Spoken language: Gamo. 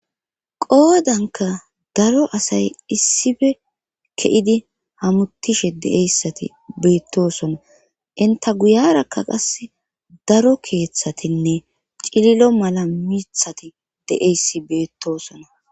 qoodanka daro asay issife ke7idi hamutishe de7eyssati beettosona inta guyarakka qas daro keeththatinne cililo mala mithati de7eyssi beettosona